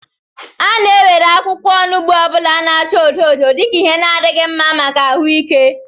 A na-ewere akwukwo onugbu ọ bụla na-acha odo odo dika Ihe n'adịghị mma maka ahụike